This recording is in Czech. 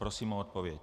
Prosím o odpověď.